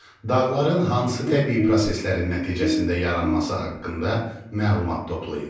Dağların hansı təbii proseslərin nəticəsində yaranması haqqında məlumat toplayın.